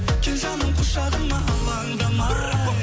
кел жаным құшағыма алаңдамай